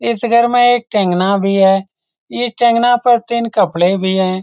इस घर में एक टंगना भी है इस टंगना पर तीन कपड़े भी है।